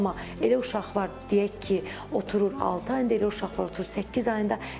elə uşaq var, deyək ki, oturur altı ayında, elə uşaq var oturur səkkiz ayında.